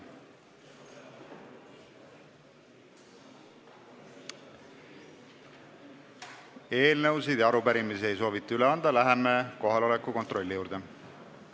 Eelnõusid ja arupärimisi ei soovita üle anda, läheme kohaloleku kontrolli juurde.